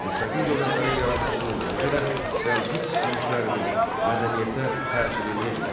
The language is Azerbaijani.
Müstəqil dövlətlərin yaranmasının, eləcə də Səlcuq yürüşlərinin mədəniyyətə təsiri necə oldu?